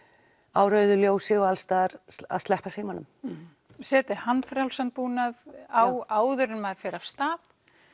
á rauðu ljósi og alls staðar að sleppa símanum setja handfrjálsan búnað á áður en maður fer af stað